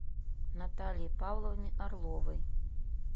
наталье павловне орловой